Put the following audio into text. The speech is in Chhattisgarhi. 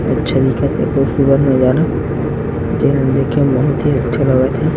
अच्छा दिखत हे खूबसूरत नज़ारा जेन ल देखे में बहुत अच्छा लगत हे।